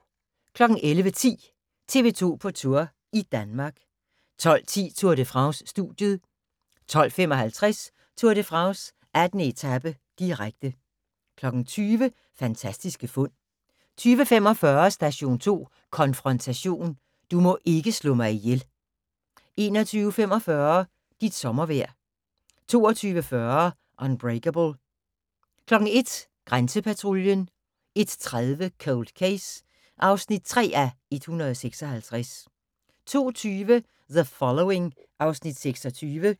11:10: TV 2 på Tour – i Danmark 12:10: Tour de France: Studiet 12:55: Tour de France: 18. etape, direkte 20:00: Fantastiske fund 20:45: Station 2 Konfrontation: Du må ikke slå mig ihjel 21:45: Dit sommervejr 22:40: Unbreakable 01:00: Grænsepatruljen 01:30: Cold Case (3:156) 02:20: The Following (Afs. 26)